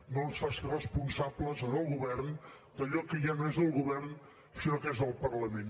no ens faci responsables al govern d’allò que ja no és del govern sinó que és del parlament